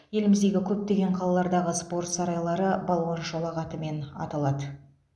еліміздегі көптеген қалалардағы спорт сарайлары балуан шолақ атымен аталады